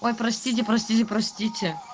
ой простите простите простите